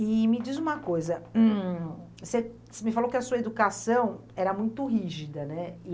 E me diz uma coisa, hm, você você me falou que a sua educação era muito rígida, né?